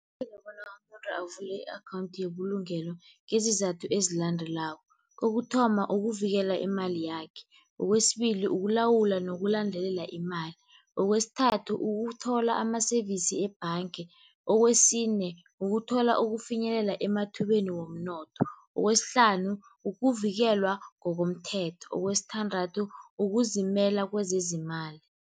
umuntu avule i-akhawunthi yebulungelo ngezizathu ezilandelako, kokuthoma, ukuvikela imali yakhe. Kwesibili, ukulawula nokulandelela imali. Kwesithathu, kuthola ama-service ebhanga. Kwesine, kuthola ukufinyelela emathubeni womnotho. Kwesihlanu, kuvikelwa ngokomthetho. Kwesithandathu, kuzimela kwezezimali.